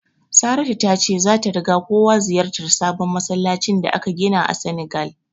Saratu ta ce zata riga kowa ziyartar sabon masallacin da aka gina a Senegal.